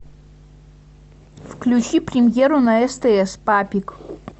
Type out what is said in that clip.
включи премьеру на стс папик